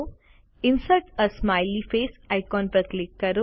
insert a smiley face icon પર click કરો